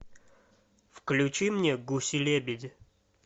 включи мне гуси лебеди